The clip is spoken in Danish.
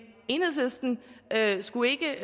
enhedslisten skulle ikke